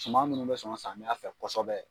Suman minnu bɛ sɔn samiyɛ fɛ kosɛbɛ.